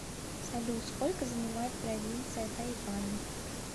салют сколько занимает провинция тайвань